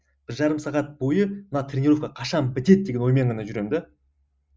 бір жарым сағат бойы мына тренеровка қашан бітеді деген оймен ғана жүремін де